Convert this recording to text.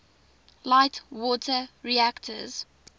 light water reactors